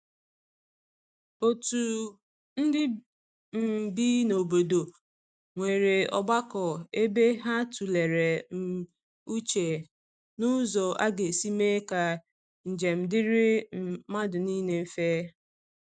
otu ndi um bị n'obodo nwere ogbako ebe ha tulere um uche n'ụzọ aga esi mee ka njem diri um madu nile mfe.